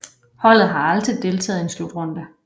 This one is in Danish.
Holdet har aldrig deltaget i en slutrunde